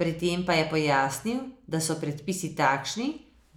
Pri tem pa je pojasnil, da so predpisi takšni,